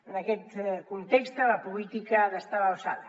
en aquest context la política ha d’estar a l’alçada